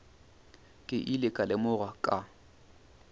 ke ile ka lemoga ka